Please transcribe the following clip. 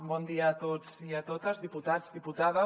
bon dia a tots i a totes diputats diputades